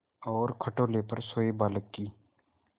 और खटोले पर सोए बालक की